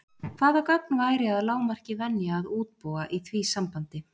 Hvaða gögn væri að lágmarki venja að útbúa í því sambandi?